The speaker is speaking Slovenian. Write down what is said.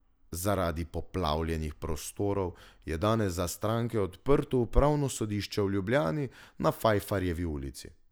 Zaradi poplavljenih prostorov je danes za stranke zaprto Upravno sodišče v Ljubljani na Fajfarjevi ulici.